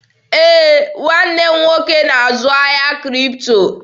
Ee, nwanne m nwoke na-azụ ahịa Kripto.